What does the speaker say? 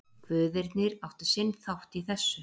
Guðirnir áttu sinn þátt í þessu.